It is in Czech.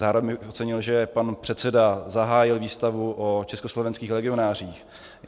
Zároveň bych ocenil, že pan předseda zahájil výstavu o československých legionářích.